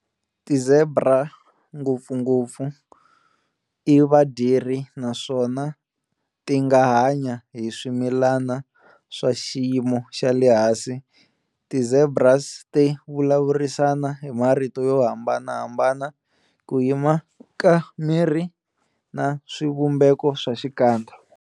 Ti zebra ngopfungopfu i vadyeri naswona tinga hanya hi swimilani swa xiyimo xale hansi. Ti zebras ti vulavurisana hi marito yohambanahambana, ku yima ka miri na swivumbeko swa xikandza.